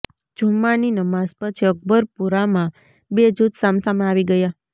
જુમ્માની નમાઝ પછી અકબરપુરામાં બે જૂથ સામસામે આવી ગયા